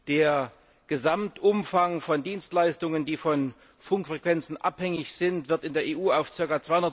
Der Gesamtumfang von Dienstleistungen, die von Funkfrequenzen abhängig sind, wird in der EU auf ca.